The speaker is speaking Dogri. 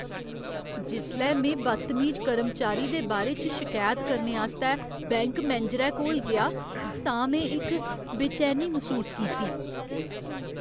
जिसलै में बदतमीज कर्मचारी दे बारे च शकैत करने आस्तै बैंक मैनेजरै कोल गेआ तां में इक बेचैनी मसूस कीती।